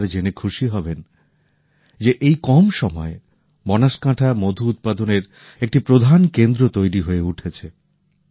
আপনারা জেনে খুশী হবেন যে এই কম সময়ে বনসকান্থা মধু উৎপাদনের একটি প্রধান কেন্দ্র তৈরি হয়ে উঠেছে